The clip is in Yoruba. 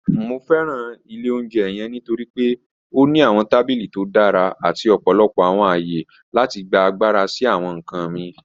Mo fẹran ilẹ̀ ọ̀unjẹ́ yẹ̀ǹ nítorí pe ó ní awọn tabílí tó dára àti ọ̀pọ̀lọpọ̀ awọn ayé láti gbà agbára sí awọn nkàn mí.